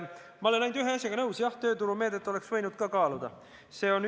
Ma olen ainult ühe asjaga nõus: jah, tööturumeede oleks võinud ka kõne alla tulla.